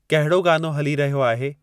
कहड़ो गानो हली रहियो आहे